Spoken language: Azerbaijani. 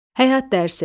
Həyat dərsi.